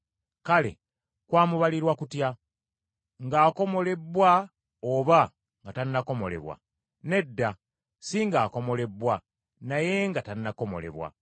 Kale, kwamubalirwa kutya? Ng’akomolebbwa oba nga tannakomolebwa? Nedda si ng’akomolebbwa naye nga tannakomolebwa.